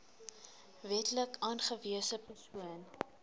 wetlik aangewese persoon